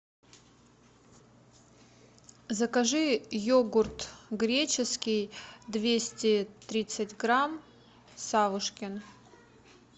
закажи йогурт греческий двести тридцать грамм савушкин